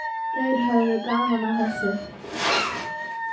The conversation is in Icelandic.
Þeir höfðu gaman af þessu.